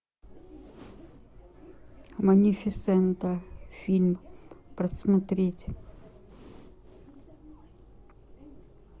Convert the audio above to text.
малефисента фильм просмотреть